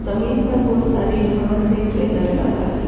जमीन पर बहुत सारी घांस एक बैनर लगा है ।